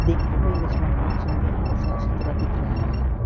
दिखने में रेस्टोरेंट बहुत सुंदर और साफ सुथरा दिख रहा है।